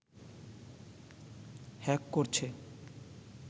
hack করছে